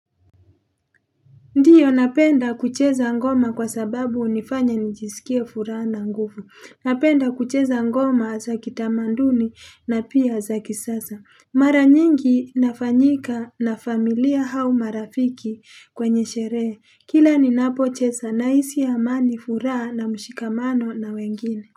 Ndiyo napenda kucheza ngoma kwa sababu hunifanya nijisikie furaha na nguvu napenda kucheza ngoma za kitamaduni na pia za kisasa mara nyingi nafanyika na familia au marafiki kwenye sherehe kila ninapo cheza nahisi amani furaha na mshikamano na wengine.